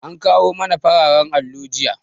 An kawo mana fararan allo jiya.